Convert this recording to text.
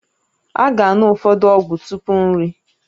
A ga-aṅụ ụfọdụ ọgwụ tupu nri